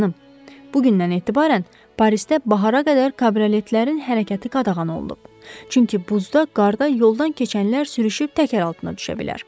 Bugündən etibarən Parisdə bahara qədər kabroletlərin hərəkəti qadağan olunub, çünki buzda, qarda yoldan keçənlər sürüşüb təkər altına düşə bilər.